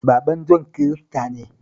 Baban Jon Kirista ne